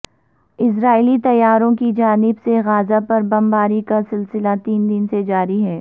اسرائیلی طیاروں کی جانب سے غزہ پر بمباری کا سلسلہ تین دن سے جاری ہے